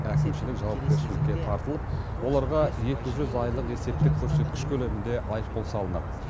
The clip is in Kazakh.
әкімшілік жауапкершілікке тартылып оларға екі жүз айлық есептік көрсеткіш көлемінде айыппұл салынады